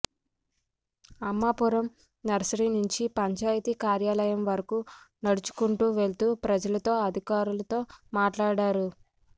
అమ్మాపురంలో nursery నుంచి పంచాయతీ కార్యాలయం వరకు నడుచుకుంటూ వెళ్తూ ప్రజలతో అధికారులతో మాట్లాడారు